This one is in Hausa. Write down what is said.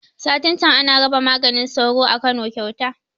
Satin can ana raba maganin sauro a Kano kyauta